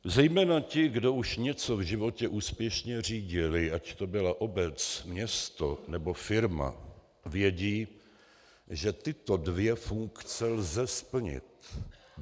Zejména ti, kdo už něco v životě úspěšně řídili, ať to byla obec, město nebo firma, vědí, že tyto dvě funkce lze splnit.